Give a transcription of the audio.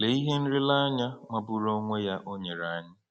Lee ihe nlereanya magburu onwe ya o nyere anyị!